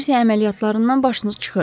Kommersiya əməliyyatlarından başınız çıxır.